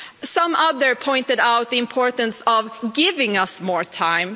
Some others pointed out the importance of giving us more time.